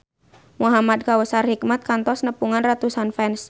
Muhamad Kautsar Hikmat kantos nepungan ratusan fans